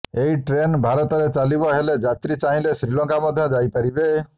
ଏହି ଟ୍ରେନ୍ ଭାରତରେ ଚାଲିବ ହେଲେ ଯାତ୍ରୀ ଚାହିଁଲେ ଶ୍ରୀଲଙ୍କା ମଧ୍ୟ ଯାଇପାରିବେ